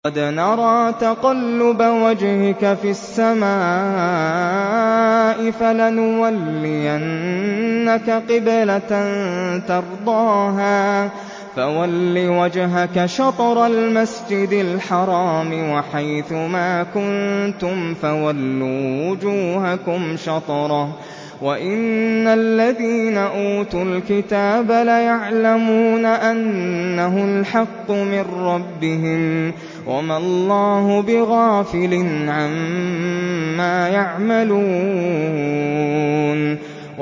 قَدْ نَرَىٰ تَقَلُّبَ وَجْهِكَ فِي السَّمَاءِ ۖ فَلَنُوَلِّيَنَّكَ قِبْلَةً تَرْضَاهَا ۚ فَوَلِّ وَجْهَكَ شَطْرَ الْمَسْجِدِ الْحَرَامِ ۚ وَحَيْثُ مَا كُنتُمْ فَوَلُّوا وُجُوهَكُمْ شَطْرَهُ ۗ وَإِنَّ الَّذِينَ أُوتُوا الْكِتَابَ لَيَعْلَمُونَ أَنَّهُ الْحَقُّ مِن رَّبِّهِمْ ۗ وَمَا اللَّهُ بِغَافِلٍ عَمَّا يَعْمَلُونَ